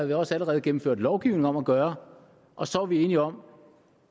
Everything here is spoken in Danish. vi også allerede gennemført lovgivning om at gøre og så var vi enige om